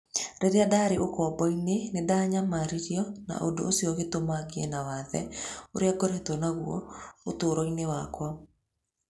Rĩrĩa ndaarĩ ũkombo-inĩ, nĩ ndanyamarirwo na ũndũ ũcio ũgĩtũma ngĩe na wathe ũrĩa ngoretwo naguo ũtũũro-inĩ wakwa